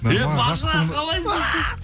е бажа қалайсың